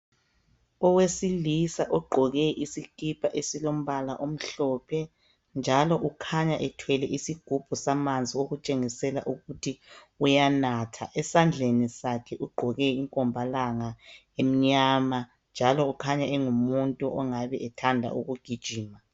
Owesilisa ogqoke isikipa esilombala omhlophe njalo ukhanya ethwele isgubhu samanzi okutshengisela ukuthi uyanatha, esandleni sakhe ugqoke inkombalanga emnyama, njalo ukhanya engumuntu ongabe ethanda ukugijima.